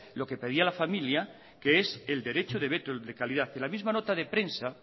lo que pedía la familia que es el derecho de veto de calidad y en la misma nota prensa